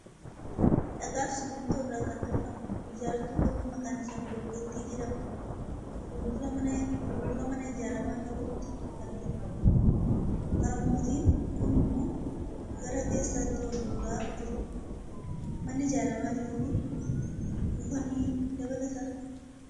Dhagaa fi simmintoo irraa kan tolfame, ijaartuu gamoo maqaan isaa bilookkettii jedhamu fuuldura mana ijaaramaa jiruutti argina. Harmootiin kun immoo gara keessaatti ol guuraa jiru. Manni ijaaramaa jiru kun muka ni dabalataa?